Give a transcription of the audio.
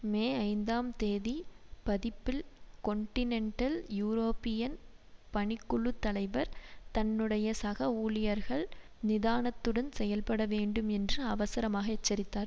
மே ஐந்தாம் தேதி பதிப்பில் கொன்டினென்டல் யூரோப்பியன் பணிக்குழுத் தலைவர் தன்னுடைய சக ஊழியர்கள் நிதானத்துடன் செயல்பட வேண்டும் என்று அவசரமாக எச்சரித்தார்